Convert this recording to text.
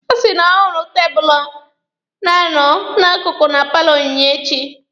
Ọ sị na ọ hụrụ tebụlụ na-anọ n'akụkụ na paalọ Onyinyechi.